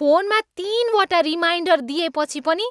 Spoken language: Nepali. फोनमा तिनवटा रिमाइन्डर दिएपछि पनि